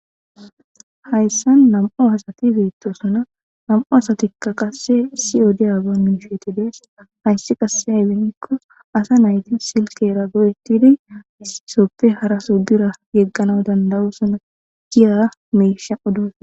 hayssan nam7o asati beettosuna nam7u asatikka qasse sioodi aago miisheeti dees hayssi qasse haybennikko asa nayti silkera goyettidi issisoppe hara soo dura yeggana dandawosuna giya meesha odos